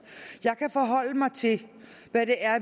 jeg kan forholde mig til hvad